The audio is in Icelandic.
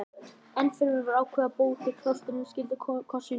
Ennfremur var ákveðið að ábóti klaustursins skyldi kosinn úr